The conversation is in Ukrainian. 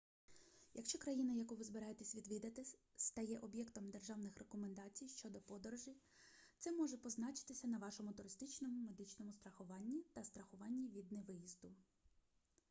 якщо країна яку ви збираєтесь відвідати стає об'єктом державних рекомендацій щодо подорожей це може позначитися на вашому туристичному медичному страхуванні та страхуванні від невиїзду